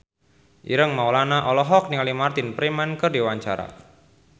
Ireng Maulana olohok ningali Martin Freeman keur diwawancara